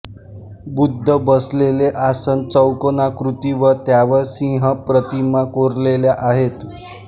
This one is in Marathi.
बुद्ध बसलेले आसन चौकोनाकृती व त्यावर सिंहप्रतिमा कोरलेल्या आहेत